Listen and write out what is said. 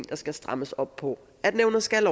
der skal strammes op på nævnet skal